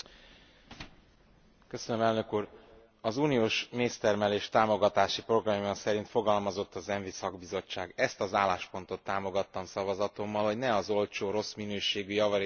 Az uniós méztermelés támogatási programja szerint fogalmazott az ENVI szakbizottság. Ezt az álláspontot támogattam szavazatommal, hogy ne az olcsó, rossz minőségű, javarészt kínai méz importját bátorítsam.